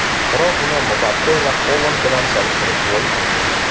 Biroq uni Mbappe va Holand bilan solishtirib bo‘lmaydi.